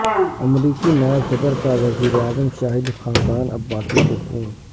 امریکی نائب صدرکاوزیر اعظم شاہد خاقان عباسی کو فون